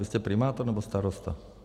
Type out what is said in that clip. Vy jste primátor, nebo starosta?